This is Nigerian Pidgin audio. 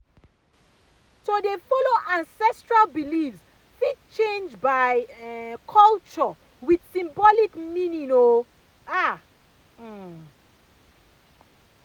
to dey follow ancestral beliefs fit change by um culture with symbolic meaning um ah um